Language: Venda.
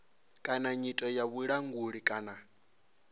kana nyito ya vhulanguli kana